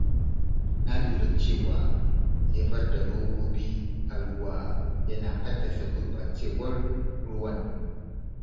Na lura cewa jefar da robobi a ruwa yana haddasa gurɓacewar ruwan.